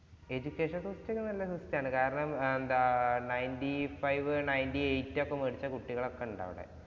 Education system ഒക്കെ നല്ല system ആണ്. കാരണം എന്താ ninety five-nintey eight ഒക്കെ വേടിച്ച കുട്ടികള്‍ ഒക്കെ ഉണ്ട് അവിടെ.